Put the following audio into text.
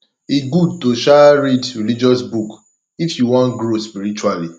e gud to um read religious book if yu wan grow spiritually